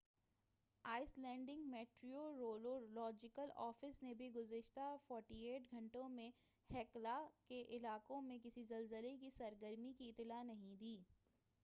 ice لینڈک meteorological office نے بھی گُزشتہ 48 گھنٹوں میں ہیکلا کے علاقے میں کسی زلزلے کی سرگرمی کی اطلاع نہیں دی